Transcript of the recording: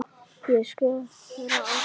Ég skora á þig!